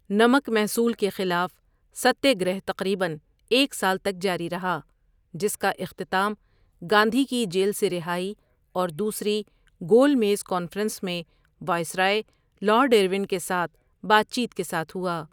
نمک محصول کے خلاف ستیہ گرہ تقریباً ایک سال تک جاری رہا، جس کا اختتام گاندھی کی جیل سے رہائی اور دوسری گول میز کانفرنس میں وائسرائے لارڈ ارون کے ساتھ بات چیت کے ساتھ ہوا۔